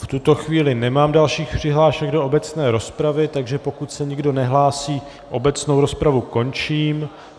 V tuto chvíli nemám dalších přihlášek do obecné rozpravy, takže pokud se nikdo nehlásí, obecnou rozpravu končím.